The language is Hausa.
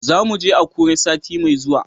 Za mu je Akure sati mai zuwa.